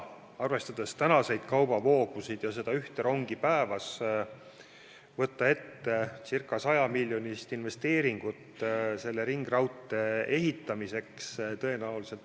Arvestades tänaseid kaubavoogusid ja seda ühte rongi päevas, ei ole tõenäoliselt majanduslikult väga otstarbekas võtta ette ca 100-miljonilist investeeringut selle ringraudtee ehitamiseks.